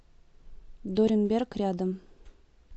доренберг рядом